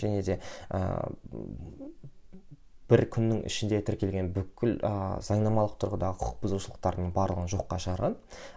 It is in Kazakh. және де ііі бір күннің ішінде тіркелген бүкіл ыыы заңнамалық тұрғыдағы құқық бұзушылықтардың барлығын жоққа шығарған